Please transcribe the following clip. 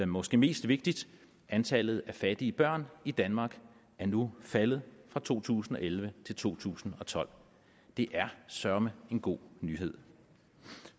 måske mest vigtigt antallet af fattige børn i danmark er nu faldet fra to tusind og elleve til to tusind og tolv det er søreme en god nyhed